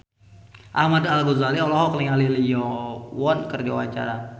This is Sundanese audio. Ahmad Al-Ghazali olohok ningali Lee Yo Won keur diwawancara